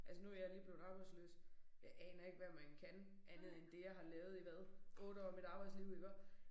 Altså nu jeg lige blevet arbejdsløs. Jeg aner ikke hvad man kan andet end det jeg har lavet i hvad 8 år af mit arbejdsliv iggå